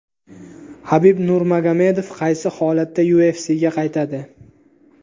Habib Nurmagomedov qaysi holatda UFC’ga qaytadi?